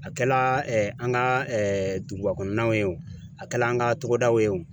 A kɛla an ka dugubakɔnɔnaw ye wo , a kɛla an ka togodaw ye wo